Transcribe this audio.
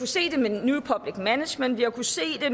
se det med new public management vi har kunnet se det